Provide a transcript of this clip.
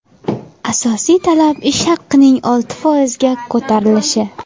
Asosiy talab ish haqining olti foizga ko‘tarilishi.